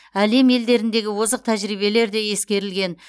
әлем елдеріндегі озық тәжірибелер де ескерілген